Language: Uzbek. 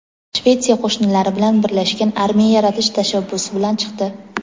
Shvetsiya qo‘shnilari bilan birlashgan armiya yaratish tashabbusi bilan chiqdi.